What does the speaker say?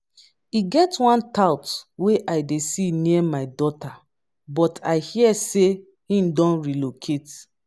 e get one tout wey i dey see near my daughter but i hear say he don relocate